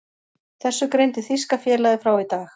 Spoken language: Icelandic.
Þessu greindi þýska félagið frá í dag.